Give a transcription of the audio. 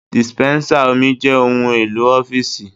Dispensa omi jẹ́ ohun-èlò ọ́fíìsì.